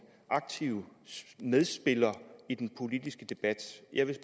aktiv medspiller i den politiske debat jeg vil